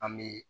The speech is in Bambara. An bɛ